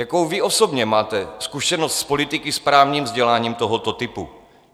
Jakou vy osobně máte zkušenost s politiky s právním vzděláním tohoto typu?